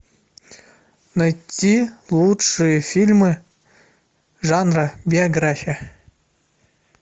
найти лучшие фильмы жанра биография